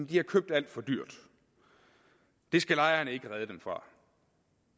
de har købt alt for dyrt det skal lejeren ikke redde dem fra